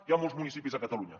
hi ha molts municipis a catalunya